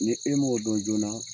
Ni e m'o dɔn joona